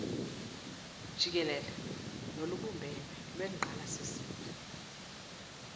jikele nolubumbene lwengqalasizinda